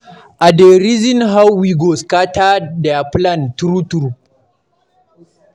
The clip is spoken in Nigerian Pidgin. I dey reason how we go scatter their plan, true true.